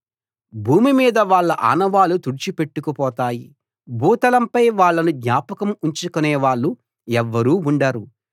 భూమి మీద వాళ్ళ ఆనవాళ్ళు తుడిచి పెట్టుకు పోతాయి భూతలంపై వాళ్ళను జ్ఞాపకం ఉంచుకునే వాళ్ళు ఎవ్వరూ ఉండరు